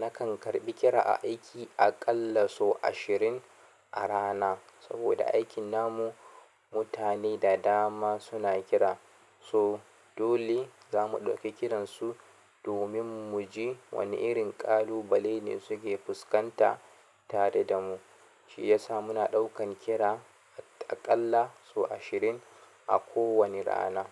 Nakan karɓi kira a aiki aƙalla sau ashirin a rana saboda aikin namu mutane da dama suna kira, so dole zamu ɗauki kiran su domin mu ji wane irin ƙalubale ne suke fuskanta tare da mu. Shi yasa muna ɗaukan kira a ƙalla sau ishirin a ko wani rana.